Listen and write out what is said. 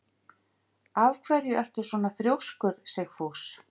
Af hverju ertu svona þrjóskur, Sigfús?